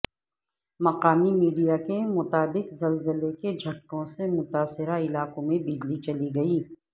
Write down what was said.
مقامی میڈیا کے مطابق زلزلے کے جھٹکوں سے متاثرہ علاقوں میں بجلی چلی گئی